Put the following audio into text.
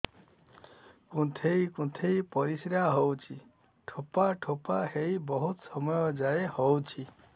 କୁନ୍ଥେଇ କୁନ୍ଥେଇ ପରିଶ୍ରା ହଉଛି ଠୋପା ଠୋପା ହେଇ ବହୁତ ସମୟ ଯାଏ ହଉଛି